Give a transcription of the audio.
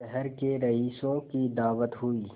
शहर के रईसों की दावत हुई